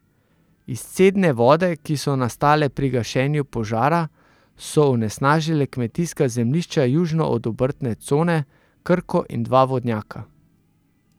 Izcedne vode, ki so nastale pri gašenju požara, so onesnažile kmetijska zemljišča južno od obrtne cone, Krko in dva vodnjaka.